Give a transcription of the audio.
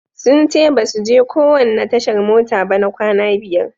Sun ce basu je kowanne tashar mota ba na kwana biyar.